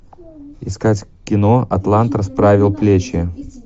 искать кино атлант расправил плечи